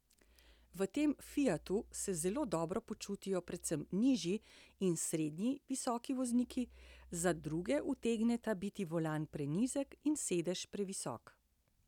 V tem fiatu se zelo dobro počutijo predvsem nižji in srednje visoki vozniki, za druge utegneta biti volan prenizek in sedež previsok.